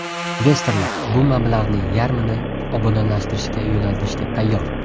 Investorlar bu mablag‘ning yarmini obodonlashtirishga yo‘naltirishga tayyor.